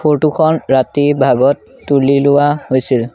Photo খন ৰাতিৰ ভাগত তুলি লোৱা হৈছিল।